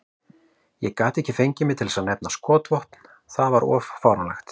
Ég gat ekki fengið mig til að nefna skotvopn, það var of fáránlegt.